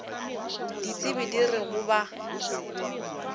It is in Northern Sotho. ditsebi di re go ba